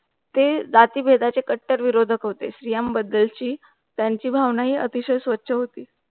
ते जाती बंधाचं कट्टर विरोधक होते. श्री आम बद्दल ची त्यांची भावना ही अति चे स्वतच होती.